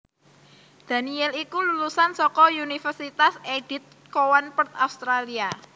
Daniel iku lulusan saka Univèrsitas Edith Cowan Perth Australia